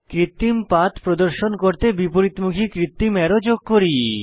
কৃত্রিম পাথ প্রদর্শন করতে বিপরীতমুখী কৃত্রিম অ্যারো যোগ করি